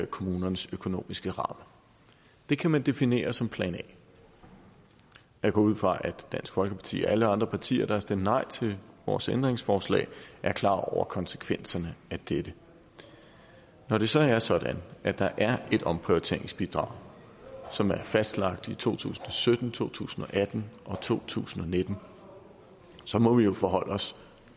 kommunernes økonomiske rammer det kan man definere som plan a jeg går ud fra at dansk folkeparti og alle de andre partier der har stemt nej til vores ændringsforslag er klar over konsekvenserne af dette når det så er sådan at der er et omprioriteringsbidrag som er fastlagt for to tusind og sytten to tusind og atten og to tusind og nitten så må vi jo forholde os